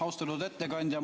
Austatud ettekandja!